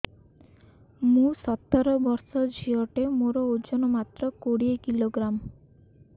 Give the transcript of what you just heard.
ମୁଁ ସତର ବର୍ଷ ଝିଅ ଟେ ମୋର ଓଜନ ମାତ୍ର କୋଡ଼ିଏ କିଲୋଗ୍ରାମ